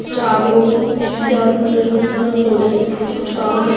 चार लोग हैं जिनके हाथ मे ड्रिल मशीन और हथोड़े हैं ये कुछ काम कर--